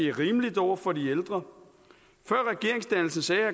er rimeligt over for de ældre